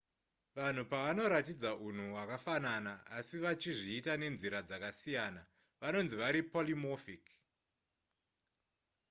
vanhu pavanoratidza unhu hwakafanana asi vachizviita nenzira dzakasiyana vanonzi vari polymorphic